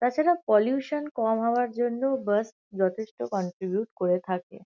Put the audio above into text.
তাছাড়া পলিউশান কম হওয়ার জন্যও বাস যথেষ্ট কন্ট্রিবিউট করে থাকে।